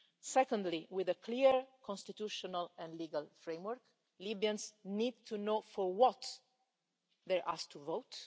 Secondly, with a clear constitutional and legal framework Libyans need to know for what they are asked to vote.